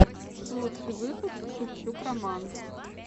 лучший выпуск шевчук роман